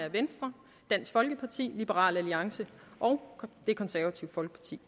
af venstre dansk folkeparti liberal alliance og det konservative folkeparti